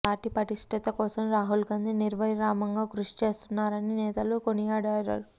party పటిష్టత కోసం రాహుల్ గాంధీ నిర్విరామంగా కృషి చేస్తు్న్నారని నేతలు కొనియాడారు